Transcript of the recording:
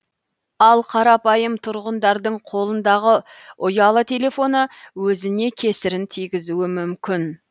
ал қарапайым тұрғындардың қолындағы ұялы телефоны өзіне кесірін тигізуі мүмкін